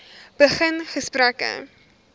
begin gesprekke